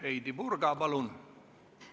Heidy Purga, palun!